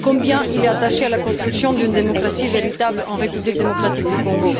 combien il est attaché à la construction d'une démocratie véritable en République démocratique du Congo.